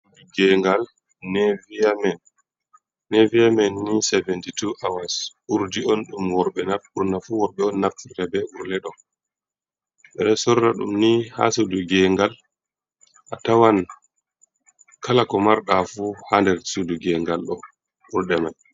Gengal nevia men. Nevia men ni sevinti to awas. Urɗi on ɗum worbe burna fu worbe on naffita be ulɗe ɗo. Beɗo sorra ɗum ni ha suɗu gengal. A tawan kala ko marɗa fu ha ɗer suɗu gengal ɗo. Urɗe mai.